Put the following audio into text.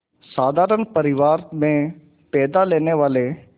साधारण परिवार में पैदा लेने वाले